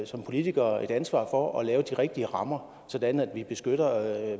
som politikere et ansvar for at lave de rigtige rammer sådan at vi beskytter